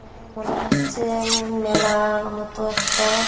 এখানে মনে হচ্ছে-এ উম মেলার-র মতো একটা --